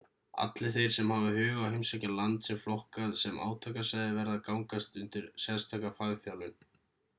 allir þeir sem hafa hug á að heimsækja land sem er flokkað sem átakasvæði verða að gangast undir sérstaka fagþjálfun